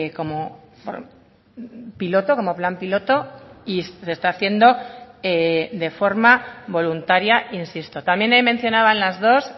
como piloto como plan piloto y se está haciendo de forma voluntaria insisto también ahí mencionaban las dos